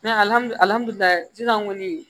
kɔni